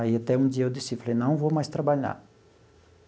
Aí até um dia eu decido, falei, não vou mais trabalhar.